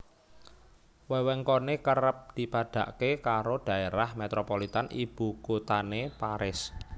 Wewengkoné kerep dipadhakké karo dhaerah metropolitan ibukuthané Paris